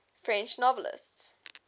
french novelists